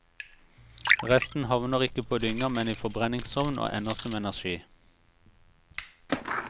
Resten havner ikke på dynga, men i forbrenningsovn og ender som energi.